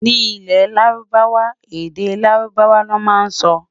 Ní ilè lárúbáwá, èdè lárùbáwá ló má n sọ